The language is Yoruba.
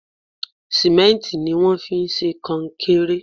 Símẹ́ǹtì ni wón fi ń ṣe konkéré.